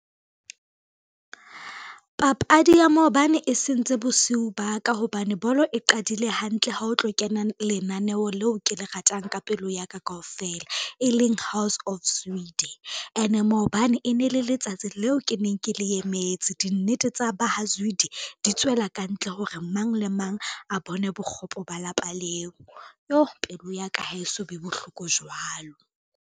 Papadi ya maobane e sentse bosiu ba ka hobane bolo e qadile hantle ha o tlo kena lenaneo leo ke le ratang ka pelo ya ka kaofela, e leng House of Zwide. Ene maobane e ne le letsatsi leo ke neng ke le emetse, dinnete tsa ba ha Zwide di tswela kantle hore mang le mang a bone bokgopo ba lapa leo. Yoh pelo ya ka ha e so be bohloko jwalo.